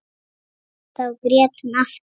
Þá grét hún aftur.